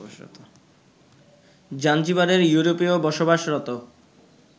জাঞ্জিবারের ইউরোপীয় বসবাসরত